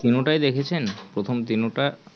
তিনো তাই দেখেছেন প্রথম তিনো টা